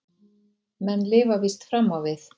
Menn lifa víst fram á við.